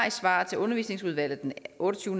et svar til undervisningsudvalget den otte og tyve